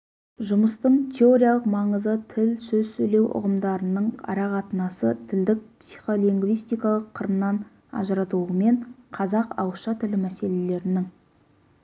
жұмыстың теориялық маңызы тіл сөз сөйлеу ұғымдарының арақатынасы тілдік психолингвистикалық қырынан ажыратылуымен қазақ ауызша тілі мәселелерінің